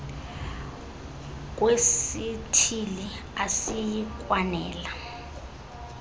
kwesithili asiyi kwanela